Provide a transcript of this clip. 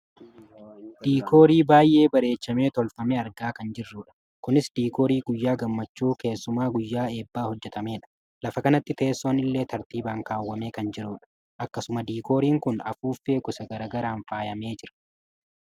diikoorii baayyee bareechamee tolfame argaa kan jirrudha . kunis diikoorii guyyaa gammachuu keessumaa guyyaa eebbaa hojjatamedha. lafa kanatti teessoon illee tartiibaan kaawwamee kan jirudha. akkasuma diikooriin kun afuuffee gosa gara garaan faayamee jira.